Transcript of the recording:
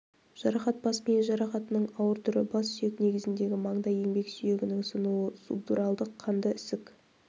жарақат бас миы жарақатының ауыр түрі бас сүйек негізіндегі маңдай-еңбек сүйегінің сынуы субдуралдық қанды ісік